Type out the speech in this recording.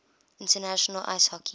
international ice hockey